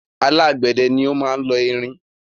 Alágbẹ̀dẹ ni o máa lo irin